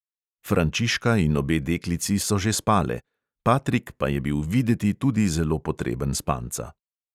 Frančiška in obe deklici so že spale, patrik pa je bil videti tudi zelo potreben spanca.